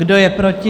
Kdo je proti?